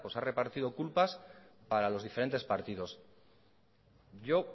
ha repartido culpas para los diferentes partidos yo